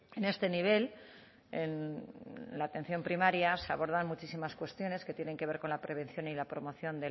en este nivel en la atención primaria se abordan muchísimas cuestiones que tienen que ver con la prevención y la promoción